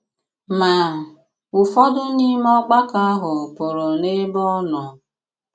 Ma, ụfọdụ n’ime ògbàkọ ahụ pụrụ n’ebe ọ nọ.